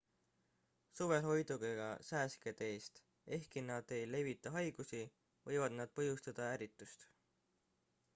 suvel hoiduge ka sääskede eest ehkki nad ei levita haigusi võivad nad põhjustada ärritust